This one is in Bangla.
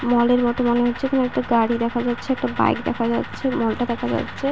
মলের মতো মনে হচ্ছে। কোনো একটা গাড়ি দেখা যাচ্ছে একটা বাইক দেখা যাচ্ছে মল টা দেখা যাচ্ছে ।